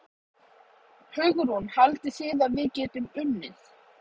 Hugrún: Haldið þið að við getum unnið?